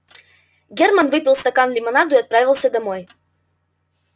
германн выпил стакан лимонаду и отправился домой